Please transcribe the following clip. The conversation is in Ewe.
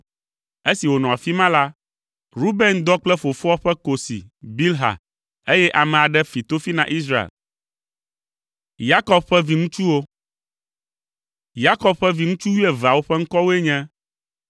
Esi wònɔ afi ma la, Ruben dɔ kple fofoa ƒe kosi, Bilha, eye ame aɖe fi tofi na Israel. Yakob ƒe viŋutsu wuieveawo ƒe ŋkɔwoe nye: